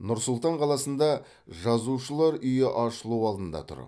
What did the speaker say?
нұр сұлтан қаласында жазушылар үйі ашылу алдында тұр